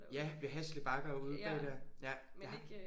Ja ved Hasle Bakker ude bag der? Ja der har